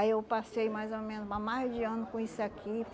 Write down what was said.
Aí eu passei mais ou menos, ma mais de ano com isso aqui.